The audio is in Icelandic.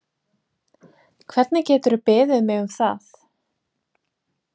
Hvernig geturðu beðið mig um það?